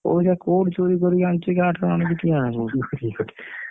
ପଇସା କୋଉଠୁ ଚୋରୀ କରିକି ଆଣୁଛି କାହାଠାରୁ ଆଣୁଛି କିଏ ଜାଣିଛି?